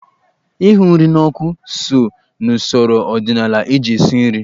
Ịhụ nri n'ọkụ so n'usoro ọdịnaala eji esi nri.